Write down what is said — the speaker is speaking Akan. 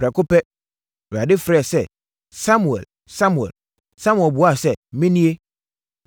Prɛko pɛ, Awurade frɛɛ sɛ, “Samuel! Samuel!” Samuel buaa sɛ, “Menie.”